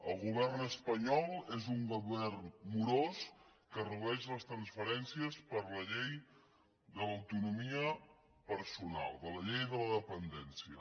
el govern espanyol és un govern morós que redueix les transferències per a la llei de l’autonomia personal per a la llei de la dependència